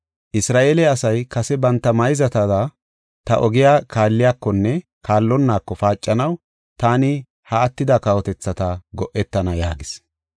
Isra7eele asay kase banta mayzatada ta ogiya kaalliyakonne kaallonnaako paacanaw taani ha attida kawotethata go7etana” yaagis.